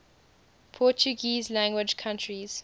portuguese language countries